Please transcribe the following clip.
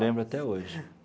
Lembro até hoje.